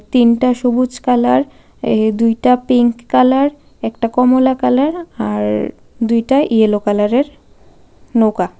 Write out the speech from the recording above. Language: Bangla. তিনটা সবুজ কালার এ দুইটা পিংক কালার একটা কমলা কালার আর দুইটা ইয়েলো কালারের নৌকা.